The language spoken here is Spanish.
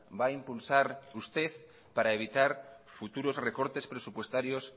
va a impulsar usted para evitar futuros recortes presupuestarios